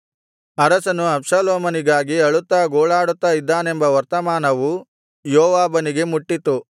ಅರಸನು ಅಬ್ಷಾಲೋಮನಿಗಾಗಿ ಅಳುತ್ತಾ ಗೋಳಾಡುತ್ತಾ ಇದ್ದಾನೆಂಬ ವರ್ತಮಾನವು ಯೋವಾಬನಿಗೆ ಮುಟ್ಟಿತು